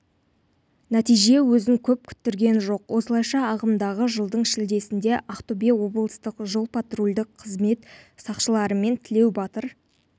нәтиже өзін көп күттірген жоқ осылайша ағымдағы жылдың шілдесінде ақтөбе облыстық жол-патрульдік қызмет сақшыларымен тілеу батыр